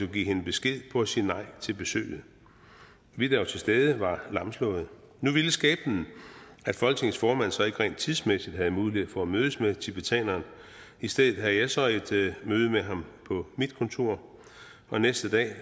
give hende besked på at sige nej til besøget vi der var til stede var lamslåede nu ville skæbnen at folketingets formand så ikke rent tidsmæssigt havde mulighed for at mødes med tibetaneren og i stedet havde jeg så et møde med ham på mit kontor og næste dag